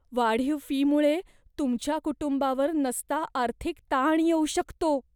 वाढीव फीमुळे तुमच्या कुटुंबावर नसता आर्थिक ताण येऊ शकतो.